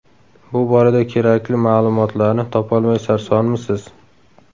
Bu borada kerakli ma’lumotlarni topolmay sarsonmisiz?